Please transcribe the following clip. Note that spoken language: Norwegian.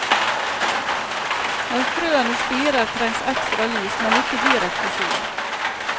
Når frøene spirer trengs ekstra lys, men ikke direkte sol.